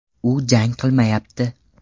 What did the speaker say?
U jang qilmayapti’.